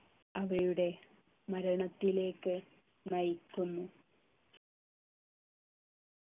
അവയുടെ മരണത്തിലേക്ക് നയിക്കുന്നു